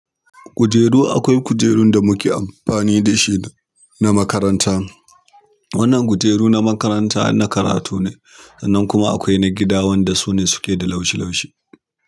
Kujeru akwai kujerun da muke amfani da shi na makaranta. Wannan kujeru na makaranta na karatu ne, sannan kuma akwai na gida wanda su ne suke da laushi laushi.